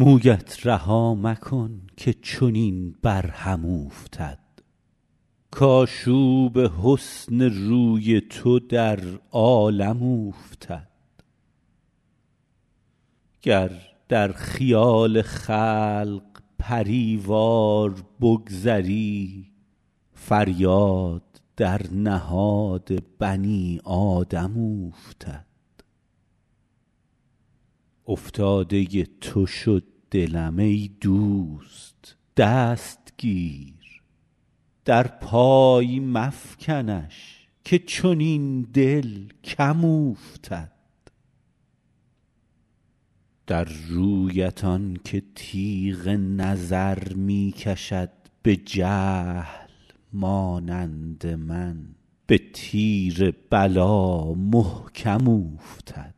مویت رها مکن که چنین بر هم اوفتد کآشوب حسن روی تو در عالم اوفتد گر در خیال خلق پری وار بگذری فریاد در نهاد بنی آدم اوفتد افتاده تو شد دلم ای دوست دست گیر در پای مفکنش که چنین دل کم اوفتد در رویت آن که تیغ نظر می کشد به جهل مانند من به تیر بلا محکم اوفتد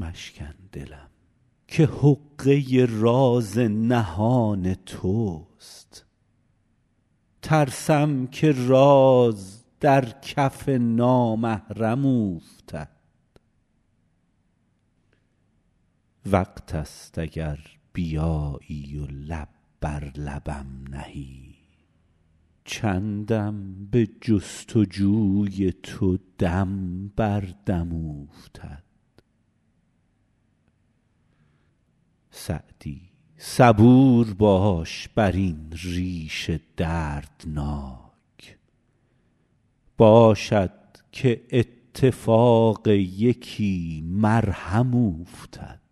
مشکن دلم که حقه راز نهان توست ترسم که راز در کف نامحرم اوفتد وقت ست اگر بیایی و لب بر لبم نهی چندم به جست و جوی تو دم بر دم اوفتد سعدی صبور باش بر این ریش دردناک باشد که اتفاق یکی مرهم اوفتد